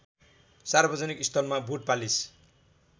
सार्वजनिक स्थलमा बुटपालिस